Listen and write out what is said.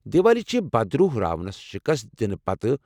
دیوالی چھِ بد روح راونس شِکست دنہٕ پتہٕ۔